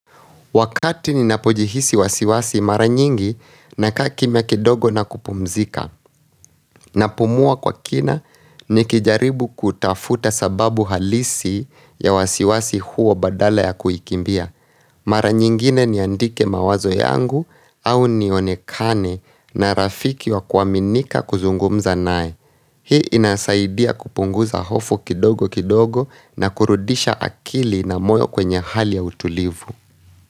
Wakati ni napojihisi wasiwasi mara nyingi naka kimya kidogo na kupumzika. Na pumua kwa kina nikijaribu kutafuta sababu halisi ya wasiwasi huo badala ya kuikimbia. Mara nyingine niandike mawazo yangu au nionekane na rafiki wa kuaminika kuzungumza nae. Hii inasaidia kupunguza hofu kidogo kidogo na kurudisha akili na moyo kwenye hali ya utulivu.